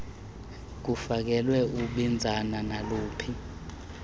kufakelwe ibinzana naluphi